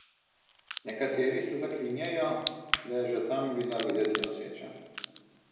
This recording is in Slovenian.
Nekateri se zaklinjajo, da je že tam bila videti noseča.